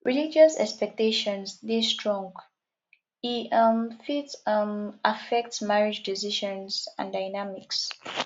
religious expectations dey strong e um fit um affect marriage decisions and dynamics